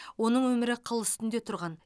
оның өмірі қыл үстінде тұрған